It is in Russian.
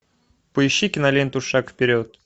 поищи киноленту шаг вперед